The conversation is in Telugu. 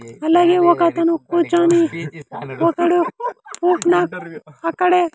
అలాగే ఒకతను కూర్చొని ఒకడు పోకునా అక్కడే.